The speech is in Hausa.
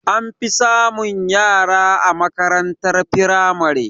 An fi samun yara a makarantar firamare